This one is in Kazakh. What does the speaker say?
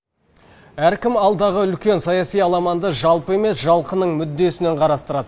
әркім алдағы үлкен саяси аламанды жалпы емес жалқының мүддесінен қарастырады